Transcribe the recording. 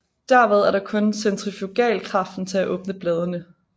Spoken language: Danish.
Derved er der kun centrifugalkraften til at åbne bladene